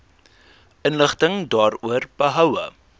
inligting daaroor behoue